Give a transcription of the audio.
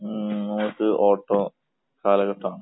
ഏഹ് അത് ഓട്ടം കാലഘട്ടമാണ്.